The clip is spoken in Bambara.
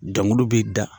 Dɔngiliw bɛ da